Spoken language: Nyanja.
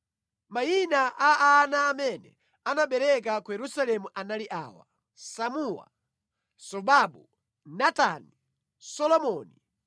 Mayina a ana amene anaberekera ku Yerusalemu anali awa: Samua, Sobabu, Natani, Solomoni,